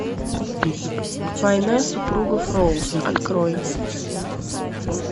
война супругов роуз открой